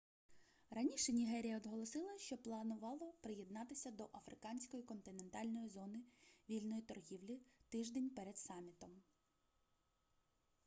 раніше нігерія оголосила що планувала приєднатися до африканської континентальної зони вільної торгівлі тиждень перед самітом